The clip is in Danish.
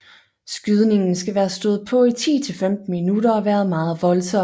Skydningen skal være stået på i 10 til 15 minutter og været meget voldsom